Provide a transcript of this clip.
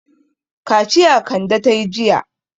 Kaciya Kande ta yi jiya.